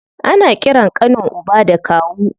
Ana ƙiran ƙanin uba da kawu.